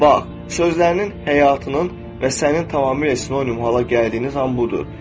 Bax, sözlərinin həyatının və sənin tamamilə sinonim hala gəldiyin zaman budur.